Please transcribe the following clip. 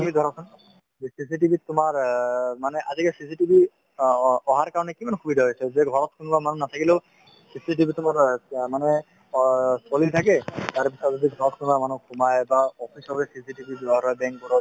CCTV ত তোমাৰ অ মানে আজিকালি CCTV অ~ অ~ অহাৰ কাৰণে কিমান সুবিধা হৈছে যে ঘৰত কোনোবা মানুহ নাথাকিলেও CCTV তো মোৰ মানুহে অ চলি থাকে তাৰপিছত যদি ঘৰত কোনোবা মানুহ সোমাই বা office চফিচ CCTV bank বোৰত